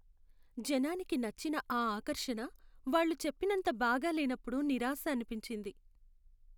జనానికి నచ్చిన ఆ ఆకర్షణ వాళ్ళు చెప్పినంత బాగా లేనప్పుడు నిరాశ అనిపించింది.